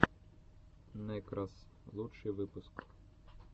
нэкрос лучший выпуск